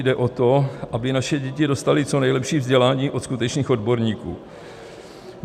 Jde o to, aby naše děti dostaly co nejlepší vzdělání od skutečných odborníků.